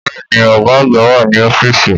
Bẹ́ẹ̀ni, ọ̀gá àgbà wà ní ọ́fíìsì